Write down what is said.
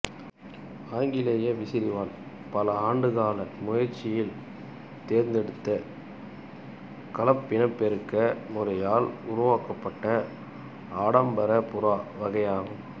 ஆங்கிலேய விசிறிவால் பல ஆண்டுகால முயற்சியில் தேர்ந்தெடுத்த கலப்பினப்பெருக்க முறையால் உருவாக்கப்பட்ட ஆடம்பரப் புறா வகையாகும்